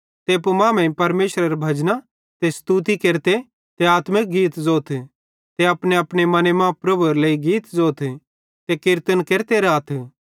ते एप्पू मांमेइं परमेशरेरां भजन ते स्तुति केरते ते आत्मिक गीत ज़ोथ ते अपनेअपने मने मां प्रभुएरे लेइ गीत ज़ोथ ते किरतन केरते राथ